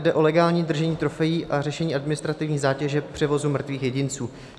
Jde o legální držení trofejí a řešení administrativní zátěže převozu mrtvých jedinců.